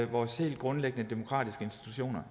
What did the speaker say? vores helt grundlæggende demokratiske institutioner